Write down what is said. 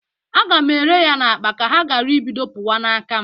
Aga m ere ya n'akpa ka ha gara ibido pụwa n'aka m